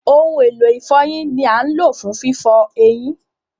Ohun elo ifọyin ni a ń lo fun fifọ eyin.